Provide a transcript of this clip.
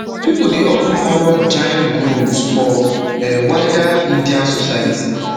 pipo dey of ten honour jain gurus for um wider indian society